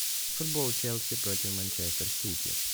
футбол челси против манчестер сити